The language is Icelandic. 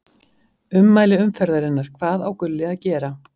Ummæli umferðarinnar: Hvað á Gulli að gera?